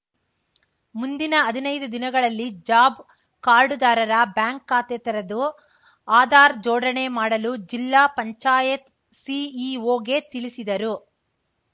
ಮುಂದಿನ ಹದಿನೈದು ದಿನಗಳಲ್ಲಿ ಜಾಬ್‌ ಕಾರ್ಡ್‌ದಾರರ ಬ್ಯಾಂಕ್‌ ಖಾತೆ ತೆರೆದು ಆಧಾರ್‌ ಜೋಡಣೆ ಮಾಡಲು ಜಿಲ್ಲಾ ಪಂಚಾಯತ್‌ ಸಿಇಒ ಗೆ ತಿಳಿಸಿದರು